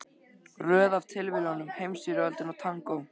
Röð af tilviljunum, Heimsstyrjöldin og tangó.